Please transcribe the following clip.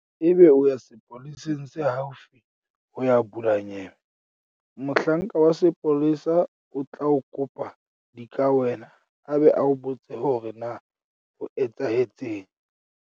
Ebe o ya sepoleseng se haufi ho ya bula nyewe. Mohlanka wa sepolesa o tla o kopa dikawena a be a o botse hore na ho etsahetseng.